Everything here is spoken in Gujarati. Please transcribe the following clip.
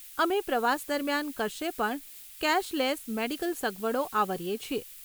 અમે પ્રવાસ દરમિયાન કશે પણ કેશલેસ મેડીકલ સગવડો આવરીએ છીએ.